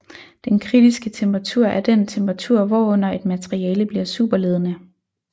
Den kritiske temperatur er den temperatur hvorunder et materiale bliver superledende